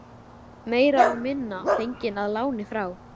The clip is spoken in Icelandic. Meira og minna fengin að láni frá